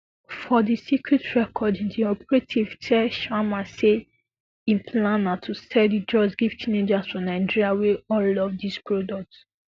for di secret recording di operative tell sharma say im plan na to sell di drugs give teenagers for nigeria wey all love dis product